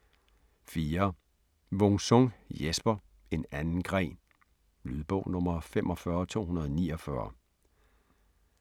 4. Wung-Sung, Jesper: En anden gren Lydbog 45249